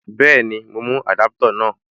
Bẹ́ẹ̀ni, mo mú Adaputa náà.